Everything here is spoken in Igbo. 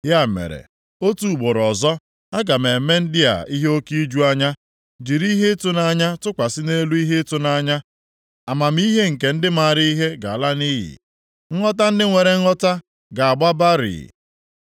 Ya mere, otu ugboro ọzọ, aga m eme ndị a ihe oke iju anya jiri ihe ịtụnanya tụkwasị nʼelu ihe ịtụnanya, amamihe nke ndị maara ihe ga-ala nʼiyi, nghọta nke ndị nwere nghọta ga-agba barịị.”